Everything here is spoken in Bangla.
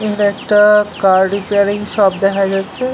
এখানে একটাআআ কার রিপেয়ারিং শপ দেখা যাচ্ছে